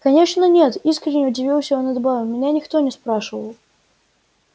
конечно нет искренне удивился он и добавил меня никто не спрашивал